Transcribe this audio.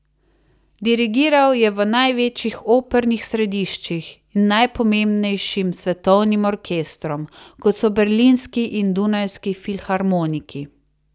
Dirigiral je v največjih opernih središčih in najpomembnejšim svetovnim orkestrom, kot so Berlinski in Dunajski filharmoniki.